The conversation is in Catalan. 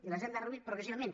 i les hem reduït progressivament